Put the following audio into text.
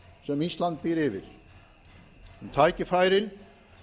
sem ísland býr yfir um tækifærin